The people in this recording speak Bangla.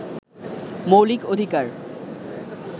মৌলিক অধিকার